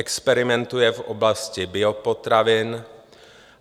Experimentuje v oblasti biopotravin.